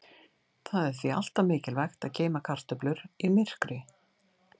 Það er því alltaf mikilvægt að geyma kartöflur í myrkri.